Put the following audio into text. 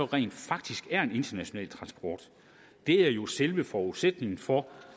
rent faktisk er international transport det er jo selve forudsætningen for